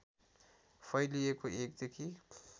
फैलिएको १ देखि